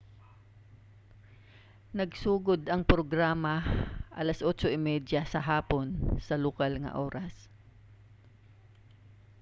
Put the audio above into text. nagsugod ang programa alas 8:30 p.m. sa lokal nga oras 15.00 utc